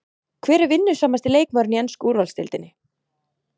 Hver er vinnusamasti leikmaðurinn í ensku úrvalsdeildinni?